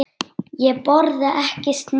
Ég borða ekki snigla.